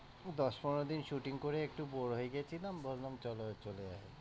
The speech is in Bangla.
দশ পনের দিন shoting করে একটু bore হয়ে গিয়েছিলাম, ভাবলাম চলো চলে যায়।